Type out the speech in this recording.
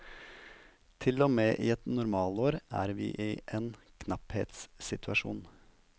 Til og med i et normalår er vi i en knapphetssituasjon.